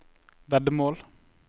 veddemål